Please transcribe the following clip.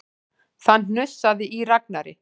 Það hnussaði í Ragnari.